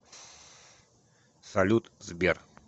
салют сбер